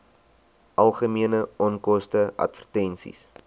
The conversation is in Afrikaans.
algemene onkoste advertensies